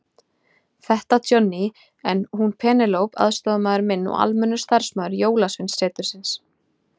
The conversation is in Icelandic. Þetta Johnny, er hún Penélope aðstoðarmaður minn og almennur starfsmaður Jólasveinasetursins.